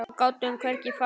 Og gátum hvergi farið.